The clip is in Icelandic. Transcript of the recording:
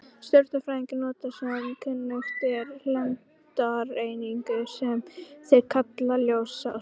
Stjörnufræðingar nota sem kunnugt er lengdareiningu, sem þeir kalla ljósár.